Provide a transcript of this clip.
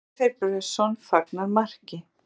Andri Freyr Björnsson fagnar marki.